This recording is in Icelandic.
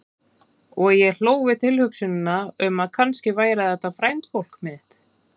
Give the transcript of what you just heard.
Og ég hló við tilhugsunina um að kannski væri þetta frændfólk mitt.